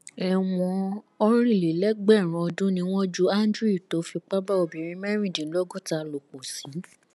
ẹwọn ọrìnlélẹgbẹrún ọdún ni wọn ju andrew tó fipá bá obìnrin mẹrìndínlọgọta lò pọ sí